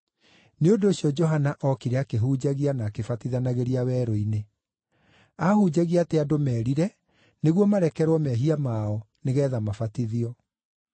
Nĩ ũndũ ũcio Johana ookire akĩhunjagia, na akĩbatithanagĩria werũ-inĩ. Aahunjagia atĩ andũ merire, nĩguo marekerwo mehia mao, nĩgeetha mabatithio.